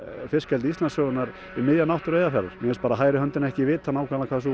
fiskeldi Íslandssögunnar í miðja náttúru Eyjafjarðar mér finnst bara hægri höndin ekki vita nákvæmlega hvað sú